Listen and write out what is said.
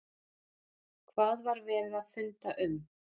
Hvað var verið að funda um?